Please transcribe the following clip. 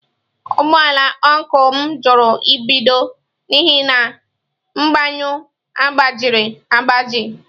Ụgbọ ala ọncụl m jụrụ ibido n'ihi na mgbanyụ agbajiri agbaji.